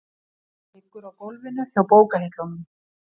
Liggur á gólfinu hjá bókahillunum.